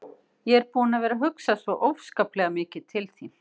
Ég er búinn að vera að hugsa svo óskaplega mikið til þín.